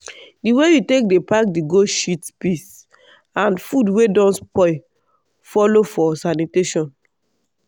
di way you take dey pack the goat shit piss and food wey don spoil follow for sanitation.